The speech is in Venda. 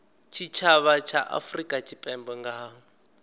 tshitshavha tsha afurika tshipembe nga